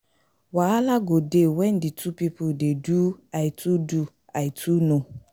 Wahala go de when di two pipo de do I too know